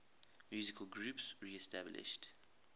musical groups reestablished